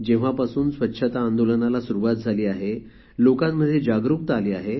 जेव्हापासून स्वच्छता आंदोलनाला सुरुवात झाली आहे लोकांमध्ये जागरुकता आली आहे